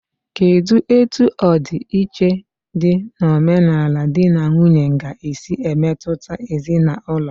Kedụ etu ọdi iche dị n'omenala dị na nwunye ga-esi emetụta ezinaụlọ?